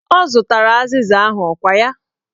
Ọ zụtara azịza ahụ, ọkwa ya?